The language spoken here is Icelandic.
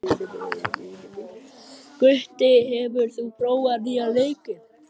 Gutti, hefur þú prófað nýja leikinn?